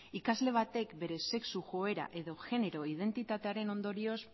ikasle batek bere sexu joera edo genero identitatearen ondorioz